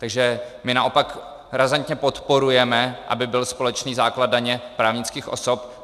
Takže my naopak razantně podporujeme, aby byl společný základ daně právnických osob.